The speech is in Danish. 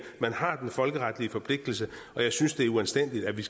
man har den folkeretlige forpligtelse og jeg synes det er uanstændigt at vi